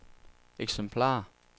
eksemplarer